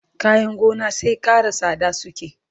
kayan gona sai Ƙara tsada suke